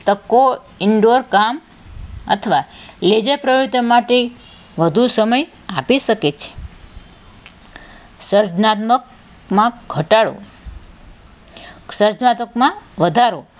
શકો indoor કામ અથવા ledger પ્રવૃતિઓ માટે વધુ સમય આપી શકે છે સર્જનાત્મકમાં ઘટાડો સર્જનાત્મકમાં વધારો,